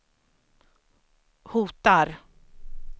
hotar